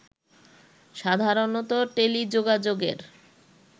সাধারণত টেলিযোগাযোগের